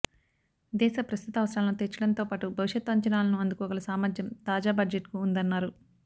దేశ ప్రస్తుత అవసరాలను తీర్చడంతోపాటు భవిష్యత్తు అంచనాలను అందుకోగల సామర్థ్యం తాజా బడ్జెట్కు ఉందన్నారు